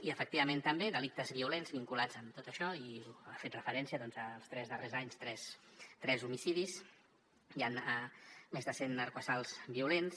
i efectivament també delictes violents vinculats amb tot això hi ha fet referència els tres darrers anys tres homicidis i més de cent assalts violents